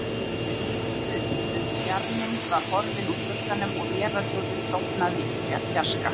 Við litum upp, uns bjarminn var horfinn úr glugganum og vélarhljóðið dofnað í fjarska.